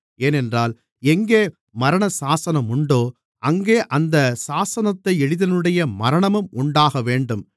ஏனென்றால் எங்கே மரணசாசனம் உண்டோ அங்கே அந்த சாசனத்தை எழுதினவனுடைய மரணமும் உண்டாகவேண்டும்